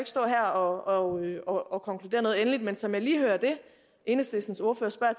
stå her og og konkludere noget endeligt men som jeg lige hører det enhedslistens ordfører spørger